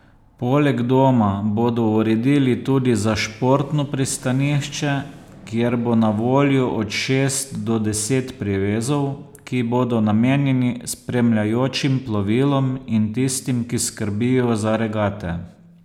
Poleg doma bodo uredili tudi za športno pristanišče, kjer bo na voljo od šest do deset privezov, ki bodo namenjeni spremljajočim plovilom in tistim, ki skrbijo za regate.